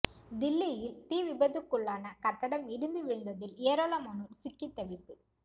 தில்லியில் தீ விபத்துக்குள்ளான கட்டடம் இடிந்து விழுந்ததில் ஏராளமானோர் சிக்கித் தவிப்பு